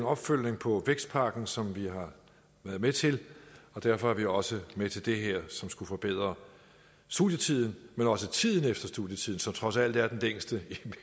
opfølgning på vækstpakken som vi har været med til og derfor er vi også med til det her som skulle forbedre studietiden men også tiden efter studietiden som trods alt er den længste